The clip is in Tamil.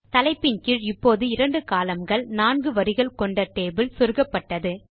தலைப்பின் கீழ் இப்போது இரண்டு columnகள் நான்கு வரிகள் கொண்ட டேபிள் சொருகப்பட்டது